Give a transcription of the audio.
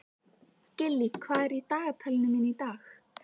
Gillý, hvað er á dagatalinu mínu í dag?